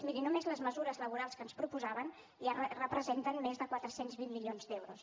miri només les mesures laborals que ens proposaven ja representen més de quatre cents i vint milions d’euros